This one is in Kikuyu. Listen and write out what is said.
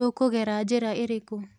Tũkũgera njĩra irĩkũ.